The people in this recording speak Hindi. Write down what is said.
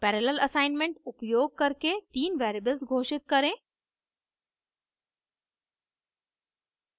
parallel assignment उपयोग करके तीन वेरिएबल्स घोषित करें